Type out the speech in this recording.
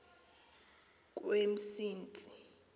kwemsintsi